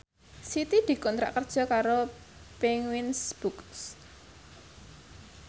Siti dikontrak kerja karo Penguins Books